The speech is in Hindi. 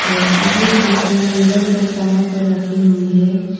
और अधिक कुर्तियां हैंगर पर टंगा कर रखे हुए हैं।